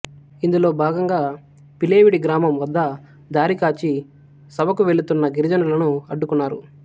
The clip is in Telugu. ఇందులో భాగంగా పిలేవిడి గ్రామం వద్ద దారికాచి సభకు వెళుతున్న గిరిజనులను అడ్డుకున్నారు